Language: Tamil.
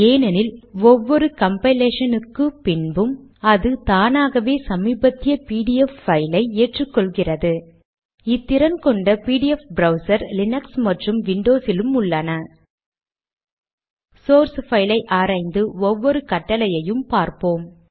ஏனென்றால் ஒவ்வொரு கம்பைலேஷனுக்கு பின்பும் அது தானாகவே சமீபத்திய பிடிஎஃப் பைலை ஏற்றிக்கொள்கிறது இத்திறன் கொண்ட பிடிஎஃப் ப்ரௌசர் லினக்ஸ் மற்றும் விண்டோஸிலும் உள்ளன சோர்ஸ் பைலை ஆராய்ந்து ஒவ்வொரு கட்டளையும் பார்ப்போம்